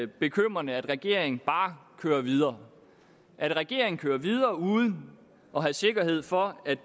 bekymrende at regeringen bare kører videre at regeringen kører videre uden at have sikkerhed for at